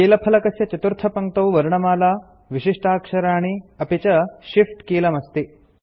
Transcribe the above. कीलफलकस्य चतुर्थपङ्क्तौ वर्णमाला विशिष्टाक्षराणि अपि च shift कीलमस्ति